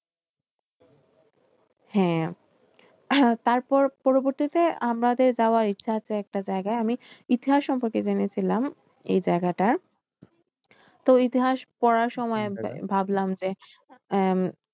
হ্যাঁ তারপর তার পরবর্তীতে আমাদের যাওয়ার ইচ্ছে আছে একটা জায়গায় আমি ইতিহাস সম্পর্কে জেনেছিলাম এই জায়গাটার তো ইতিহাস পড়ার সময় ভাবলাম যে উম